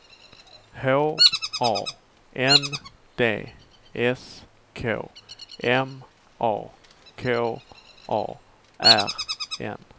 H A N D S K M A K A R N